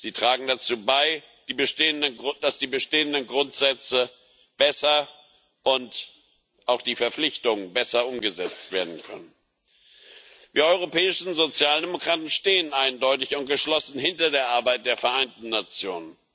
Sie tragen dazu bei, dass die bestehenden Grundsätze und auch die Verpflichtungen besser umgesetzt werden können. Wir europäischen Sozialdemokraten stehen eindeutig und geschlossen hinter der Arbeit der Vereinten Nationen.